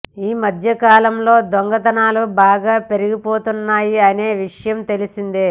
ఈ మధ్యకాలంలో దొంగతనాలు బాగా పెరిగిపోతున్నాయి అనే విషయం తెలిసిందే